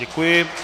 Děkuji.